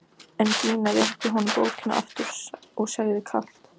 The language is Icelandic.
En Gína réttir honum bókina aftur og segir kalt: